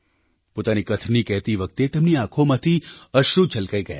પોતાની કથની કહેતી વખતે તેમની આંખોમાંથી અશ્રુ છલકાઈ ગયાં